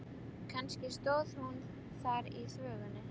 Kannski stóð hún þar í þvögunni.